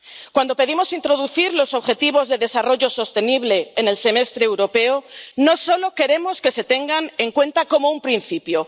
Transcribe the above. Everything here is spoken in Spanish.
Cuando pedimos introducir los objetivos de desarrollo sostenible en el Semestre Europeo, no solo queremos que se tengan en cuenta como un principio.